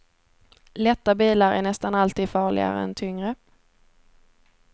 Lätta bilar är nästan alltid farligare än tyngre.